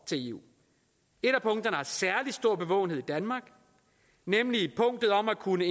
til eu et af punkterne har særlig stor bevågenhed i danmark nemlig punktet om at kunne